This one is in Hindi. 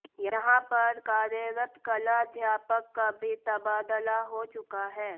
यहां पर कार्यरत कला अध्यापक का भी तबादला हो चुका है